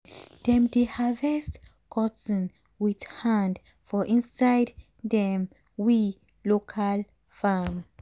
dem dey harvest cotton with hand for inside dem we local farm.